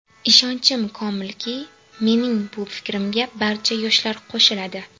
Ishonchim komilki, mening bu fikrimga barcha yoshlar qo‘shiladi.